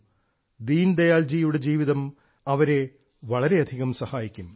ശ്രീ ദീൻദയാലിന്റെ ജീവിതം അവരെ വളരെയധികം സഹായിക്കും